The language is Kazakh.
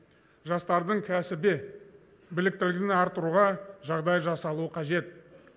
жастардың кәсіби біліктілігін арттыруға жағдай жасалуы қажет